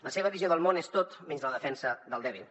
la seva visió del món és tot menys la defensa del dèbil